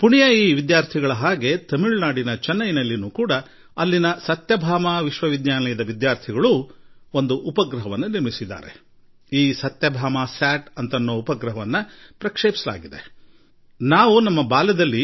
ಪುಣೆಯ ವಿದ್ಯಾರ್ಥಿಗಳು ಸಾಧನೆ ಮಾಡಿದಂತೆಯೇ ತಮಿಳುನಾಡಿನ ಚೆನ್ನೈನ ಸತ್ಯಭಾಮ ವಿಶ್ವವಿದ್ಯಾಲಯದ ವಿದ್ಯಾರ್ಥಿಗಳು ಕೂಡ ಒಂದು ಉಪಗ್ರಹ ನಿರ್ಮಿಸಿದ್ದರು ಹಾಗೂ ಆ ಸತ್ಯಭಾಮ ಉಪಗ್ರಹವನ್ನು ಕೂಡ ಉಡಾವಣೆ ಮಾಡಲಾಯಿತು